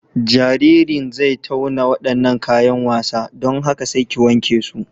Jaririn zai tauna waɗannan kayan wasa, don haka sai ki wanke su.